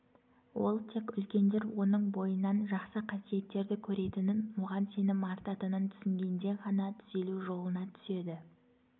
ол тек үлкендер оның бойынан жақсы қасиеттерді көретінін оған сенім артатынын түсінгенде ғана түзелу жолына түседі